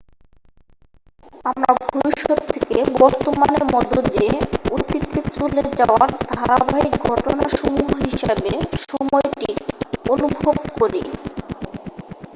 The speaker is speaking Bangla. আমরা ভবিষ্যত থেকে বর্তমানের মধ্য দিয়ে অতীতে চলে যাওয়ার ধারাবাহিক ঘটনাসমূহ হিসাবে সময়টি অনুভব করি